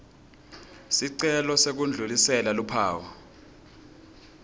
sicelo sekudlulisela luphawu